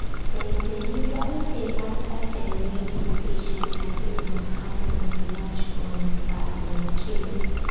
dem dey usually pay after dem weigh di fish and agree on how um much um per um kilo